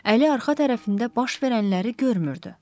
Əli arxa tərəfində baş verənləri görmürdü.